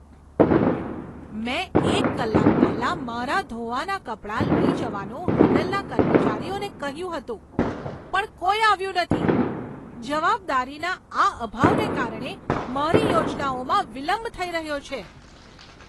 મેં એક કલાક પહેલા મારા ધોવાના કપડાં લઈ જવાનું હોટલના કર્મચારીઓને કહ્યું હતું, પણ કોઈ આવ્યું નથી. જવાબદારીના આ અભાવને કારણે મારી યોજનાઓમાં વિલંબ થઈ રહ્યો છે!